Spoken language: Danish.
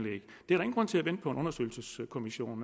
ingen grund til at vente på en undersøgelseskommission